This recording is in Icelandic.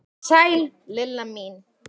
Sæl Lilla mín!